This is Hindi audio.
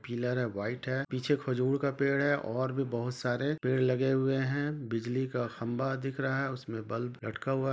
पिलर है वाइट है पीछे खजूर का पेड़ है और भी बहुत सारे पेड़ लगे हुए है बिजली का खम्बा दिख रह है उसमे बल्ब लटका हुआ--